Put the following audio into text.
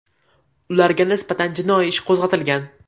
Ularga nisbatan jinoiy ish qo‘zg‘atilgan.